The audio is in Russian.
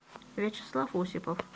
вячеслав осипов